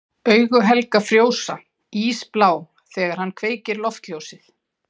Augu Helga frjósa, ísblá þegar hann kveikir loftljósið.